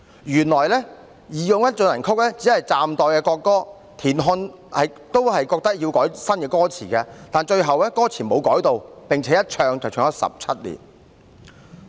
"原來"義勇軍進行曲"只是代國歌，田漢亦認為要改歌詞，但最後並沒有修改歌詞，並且一唱便唱了17年。